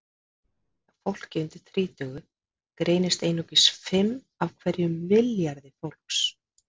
Hjá fólki undir þrítugu greinast einungis fimm af hverjum milljarði fólks.